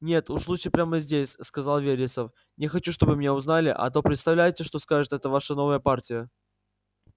нет уж лучше прямо здесь сказал вересов не хочу чтобы меня узнали а то представляете что скажет эта ваша новая партия